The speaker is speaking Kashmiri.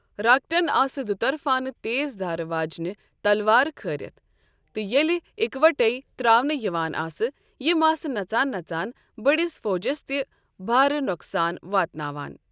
راکٹن آسہٕ دُترفانہٕ تیزدھارِ واجنہ تلوارٕ كھارِتھ ، تہٕ ییٚلہِ اِکوٹے تراونہٕ یوان آسیٕ یِ آسہٕ نژان نژان ببڑس فوجس تہِ بھارٕ نۄقسان واتناوان ۔